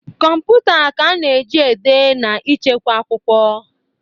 Kọmputa ka ị na eji -ede na ịchekwa akwụkwọ.